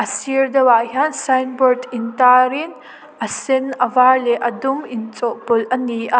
a sir deuh ah hian signboard in tar in a sen a var leh a dum inchawhpawlh a ni a.